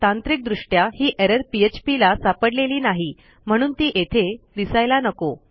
तांत्रिक दृष्ट्या ही एरर phpला सापडलेली नाही म्हणून ती येथे दिसायला नको